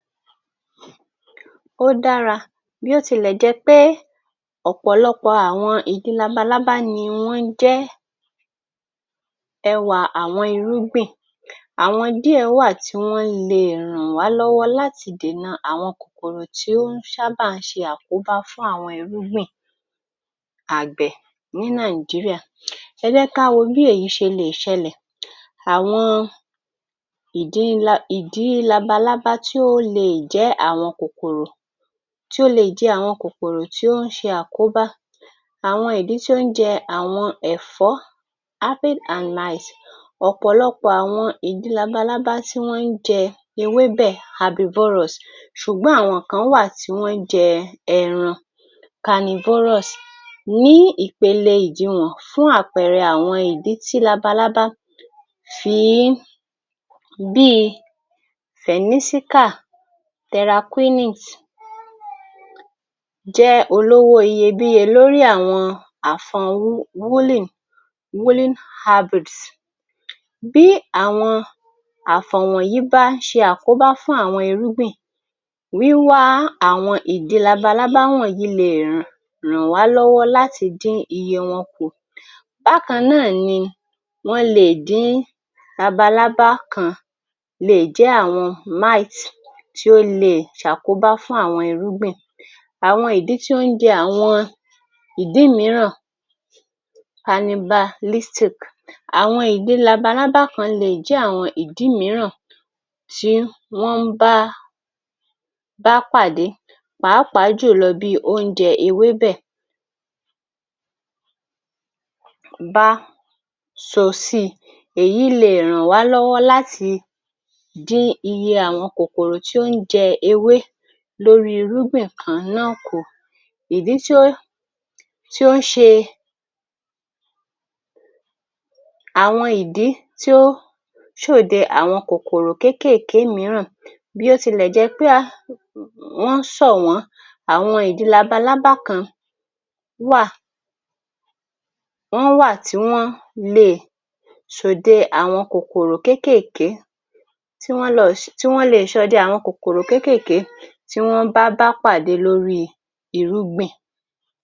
Ó dára bí ó tilẹ̀ jẹ́ pé ọ̀pọ̀lọpọ̀ ọ àwọn ìdin labalábá ni wọ́n jẹ́ ẹwà àwọn irúgbìn àwọn díẹ̀ wà tí wọ́n le è ràn wá lọ́wọ́ láti dènà àwọn kòkòrò tí ó ń ṣábà ń ṣe àkóbá fún àwọn irúgbìn àgbẹ̀ ní Nigeria. Ẹ jẹ́ ká wo bí èyí ṣe le è ṣẹlẹ̀ àwọn ìdí labalábá tí ó le è jẹ́ àwọn kòkòrò tí ó le è jẹ àwọn kòkòrò tó ń ṣe àkóbá àwọn ìdin tí ó ń jẹ àwọn ẹ̀fọ́ aphid and mite ọ̀pọ̀lọpọ̀ àwọn ìdin labalábá tí wọ́n ń jẹ ewébẹ̀ herbivorous ṣùgbọ́n àwọn kan wà tí wọ́n ń jẹ ẹran carnivorous. Ní ìpele ìdiwọ̀n fún àwọn ìdí tí labalábá fi í bí i Fìnísíkà Teraquinite jẹ́ olówó iyebíye lórí àwọn àfọn woolen fabrics. Bí àwọn àfọ̀n wọ̀nyí bá ṣe àkóbá fún àwọn irúgbìn wíwá àwọn ìdin labalábá wọ̀nyí le è ràn wá lọ́wọ́ láti dín iye wọn kù. Bákan náà ni wọ́n le è dín labalábá kan wọ́n le è jẹ́ àwọn mite tí ó le è ṣàkóbá fún àwọn irúgbìn àwọn ìdin tó ń jẹ àwọn ìdí míràn canibalistic àwọn ìdin labalábá kan le è jẹ́ àwọn ìdí míràn tí wọ́n bá bá pàdé pàápàá jùlọ oúnjẹ ewébẹ̀ bá sọ sí i èyí le è ràn wá lọ́wọ́ láti le è dín iye àwọn kòkòrò tí ó ń jẹ ewé lórí i irúgbìn kan náà kù. Ìdí tí ó ṣe àwọn ìdí tí ó ṣòde àwọn kòkòrò kékèèké mìíràn bí ó tilẹ̀ jẹ́ pé wọ́n ṣọ̀wọ́n àwọn ìdi labalábá kan wà wọ́n wà tí wọ́ le è ṣòde àwọn kòkòrò kékèèké tí wọ́n le è ṣọdẹ àwọn kòkòrò kékèèké tí wọ́n bá bá pàdé lórí i irúgbìn.